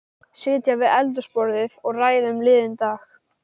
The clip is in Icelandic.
Sitja við eldhúsborðið og ræða um liðinn dag.